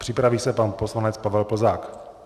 Připraví se pan poslanec Pavel Plzák.